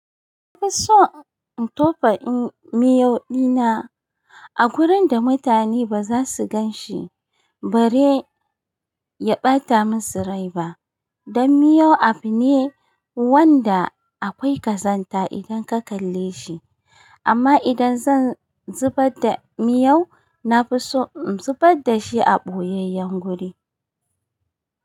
Na fi so in tofa in miyau ɗina a gurin da mutane ba za su gan shi bare ya ɓata mi surai ba. Dan miyau abu ne wanda akwai ƙazanta idan ka kalle shi. Amma idan zan zubar da miyau, na fi so in zubar da shi a ɓoyayyen guri.